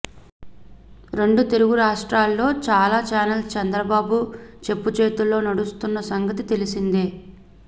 రెండు తెలుగు రాష్ట్రాల్లో చాల చానెల్స్ చంద్రబాబు చెప్పుచేతల్లో నడుస్తున్న సంగతి తెలిసిందే